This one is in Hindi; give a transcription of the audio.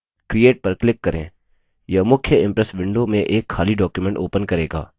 यह मुख्य impress window में एक खाली डॉक्युमेंट open करेगा